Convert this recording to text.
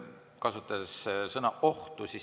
Kasutasite sõna "oht".